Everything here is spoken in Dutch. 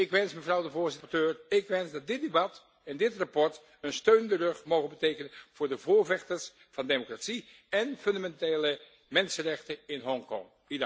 Ik wens dat dit debat en dit verslag een steun in de rug mogen betekenen voor de voorvechters van democratie en fundamentele mensenrechten in Hongkong.